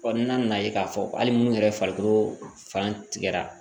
n'a nana ye k'a fɔ hali munnu yɛrɛ farikolo fan tigɛra